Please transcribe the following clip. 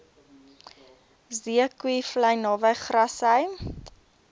zeekoevlei naby grassy